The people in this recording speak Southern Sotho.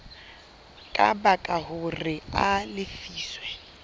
ka baka hore a lefiswe